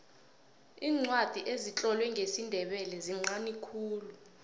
iincwadi ezitlolwe ngesindebele zinqani khulu